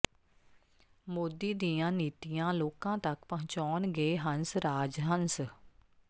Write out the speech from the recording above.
ਮੋਦੀ ਦੀਆਂ ਨੀਤੀਆਂ ਲੋਕਾਂ ਤਕ ਪਹੁੰਚਾਉਣਗੇ ਹੰਸ ਰਾਜ ਹੰਸ